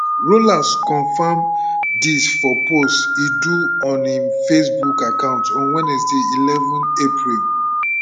rollas confam dis for post e do on im facebook account on wednesday eleven april